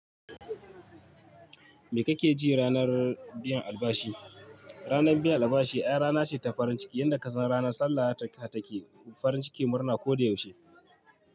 Me kake ji ranar biyan albashi? Ranar biyan albashi ai rana ce ta farin ciki, yanda ka san ranar sallah take farin ciki murna ko da yaushe.